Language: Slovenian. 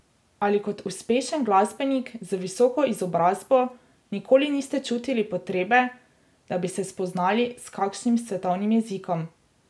Ali kot uspešen glasbenik z visoko izobrazbo nikoli niste čutili potrebe, da bi se spoznali s kakšnim svetovnim jezikom?